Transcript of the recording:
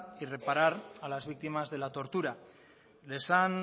y reparar a las víctimas de la tortura les han